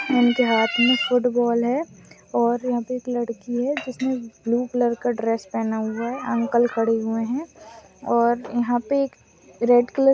इनके हाथ में फुटबॉल है और यहाँ पे एक लड़की है जिसने ब्लू कलर का ड्रेस पहना हुआ है अंकल खड़े हुए है और यहाँ पे एक रेड कलर --